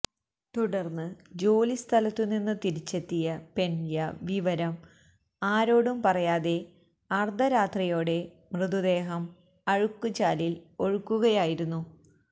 തുടർന്ന് ജോലിസ്ഥലത്തുനിന്ന് തിരിച്ചെത്തിയ പെന്റയ്യ വിവരം ആരോടും പറയാതെ അർധരാത്രിയോടെ മൃതദേഹം അഴുക്കുചാലിൽ ഒഴുക്കുകയായിരുന്നു